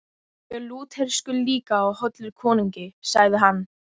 Ég er Lúterskur líka og hollur konungi, sagði hann.